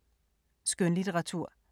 Skønlitteratur